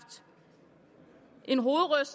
det er jo